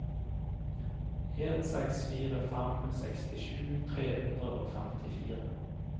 en seks fire fem sekstisju tre hundre og femtifire